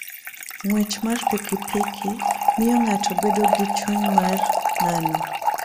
Ng'wech mar pikipiki miyo ng'ato bedo gi chuny mar nano.